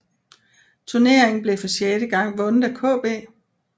Turneringen blev for sjette gang vundet af KB